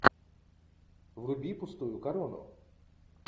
вруби пустую корону